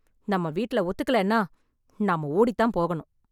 நம்ம வீட்டுல ஒத்துக்கலைன்னா நாம ஓடி தான் போகணும்